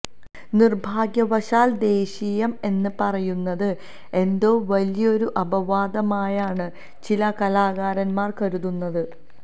നിര്ഭാഗ്യവശാല് ദേശീയം എന്ന് പറയുന്നത് എന്തോ വലിയൊരു അപവാദമായാണ് ചില കലാകാരന്മാര് കരുതുന്നത്